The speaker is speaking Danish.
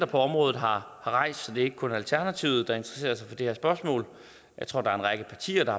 på området har rejst så det er ikke kun alternativet der interesserer sig for det her spørgsmål jeg tror der er en række partier der